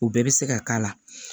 U bɛɛ bɛ se ka k'a la